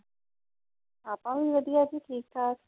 ਆਪਾਂ ਵੀ ਵਧੀਆ। ਠੀਕ-ਠਾਕ।